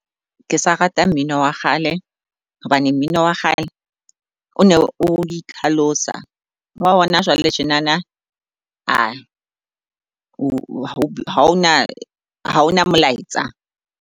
Ke sa rata mmino wa kgale hobane mmino wa kgale o ne o itlhalosa. Wa hona jwale tjenana haona molaetsa.